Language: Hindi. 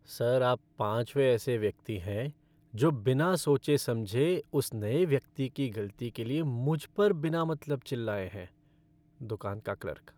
सर, आप पाँचवें ऐसे व्यक्ति हैं जो बिना सोचे समझे उस नए व्यक्ति की गलती के लिए मुझ पर बिना मतलब चिल्लाए हैं। दुकान का क्लर्क